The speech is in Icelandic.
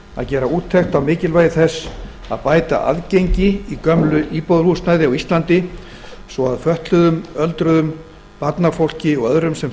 að gera úttekt á mikilvægi þess að bæta aðgengi í gömlu íbúðarhúsnæði á íslandi svo að fötluðum öldruðum barnafólki og öðrum sem